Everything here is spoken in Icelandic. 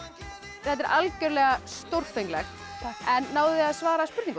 þetta er algjörlega stórfenglegt náðuð þið að svara spurningunum